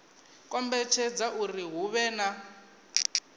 kombetshedza uri hu vhe na